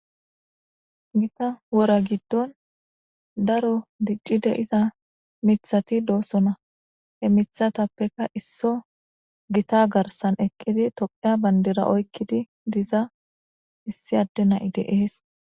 Githa wora gidon daro dicida dei'zza mithathi dossona. He mithaththapeka issoy githa garsan eqidi thophiya bandira oyqida dizza issi adde naa'y dees.